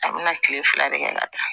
A bɛna kile fila de kɛ ka taa